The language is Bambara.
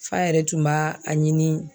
F'a yɛrɛ tun b'a a ɲini.